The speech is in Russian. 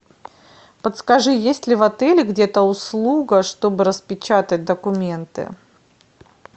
подскажи есть ли в отеле где то услуга чтобы распечатать документы